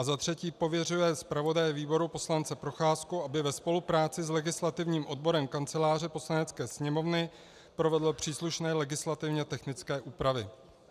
A za třetí, pověřuje zpravodaje výboru poslance Procházku, aby ve spolupráci s legislativním odborem Kanceláře Poslanecké sněmovny provedl příslušné legislativně technické úpravy.